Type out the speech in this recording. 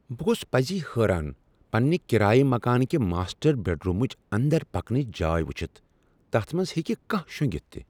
بہٕ گوس پزی حٲران پنٛنہ کرایہ مکان کہ ماسٹر بیڈرومٕچ اندر پکنچ جاے وٕچھتھ، تتھ منٛز ہیٚکہ کانہہ شوٚنگتھ تہِ۔